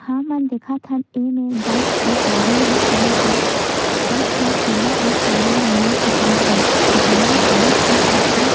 हमन देखथन इमे बस अउ गाड़ी मन खड़े हे बस हर पीला अउ करिया रंग मा पोताए हे जेमा काँच के खिड़की --